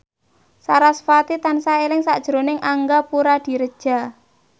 sarasvati tansah eling sakjroning Angga Puradiredja